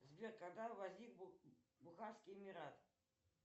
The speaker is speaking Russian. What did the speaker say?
сбер когда возник бухарский эмират